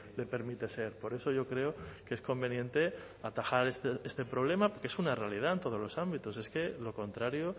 le permite ser por eso yo creo que es conveniente atajar este problema que es una realidad en todos los ámbitos es que lo contrario